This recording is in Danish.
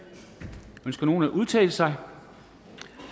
ønsker nogen at udtale sig